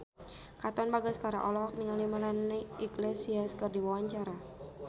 Katon Bagaskara olohok ningali Melanie Iglesias keur diwawancara